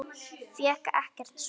Fékk ekkert svar.